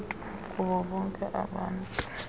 kubo bonke abantu